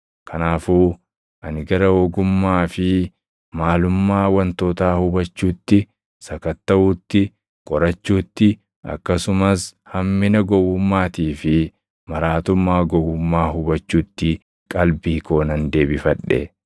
Kanaafuu ani gara ogummaa fi maalummaa wantootaa hubachuutti, sakattaʼuutti, qorachuutti akkasumas hammina gowwummaatii fi maraatummaa gowwummaa hubachuutti qalbii koo nan deebifadhe.